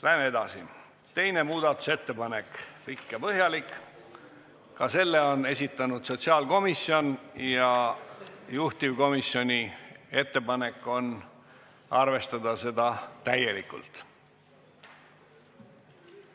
Läheme edasi: teine muudatusettepanek, pikk ja põhjalik, ka selle on esitanud sotsiaalkomisjon ja juhtivkomisjoni ettepanek on arvestada seda täielikult.